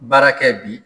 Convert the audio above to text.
Baara kɛ bi